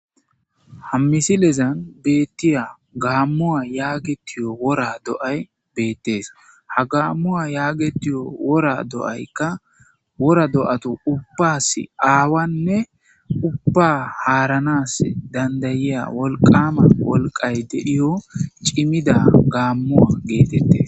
hammisilezan beettiya gaammuwa yaagetiyo wora do7ay beettees ha gaammuwa yaagetuyo wora do7aykka wora do7atu ubbas aawanne ubba haaranas dandayiya wolqama wolqay dedhiyo cimida gaammuwa geetette